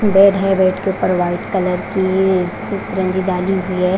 बेट है बेट के उपर वाइट कलर की डाली हुई है।